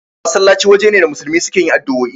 Masallaci waje ne da musulmi suke yin addu'oi